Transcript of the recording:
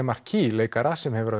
Lemarquis leikara sem hefur